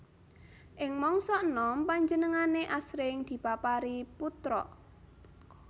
Ing mangsa enom panjenengané asring diparapi Putka